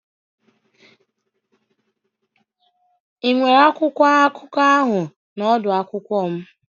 Ị nwere akwụkwọ akụkọ ahụ na odu akwụkwọ m?